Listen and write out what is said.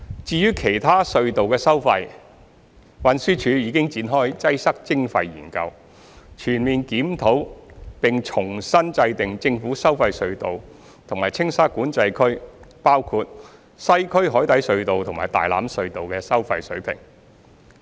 至於其他隧道的收費，運輸署已展開"擠塞徵費"研究，全面檢討並重新制訂政府收費隧道及青沙管制區，包括西區海底隧道和大欖隧道的收費水平。